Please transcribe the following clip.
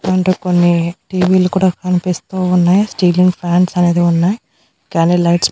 and కొన్ని టీవీలు కుడా కన్పిస్తూ ఉన్నాయ్ స్టీలింగ్ ఫాన్స్ అనేది ఉన్నాయ్ కానీ లైట్స్ --